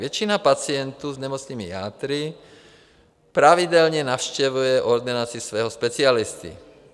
Většina pacientů s nemocnými játry pravidelně navštěvuje ordinaci svého specialisty.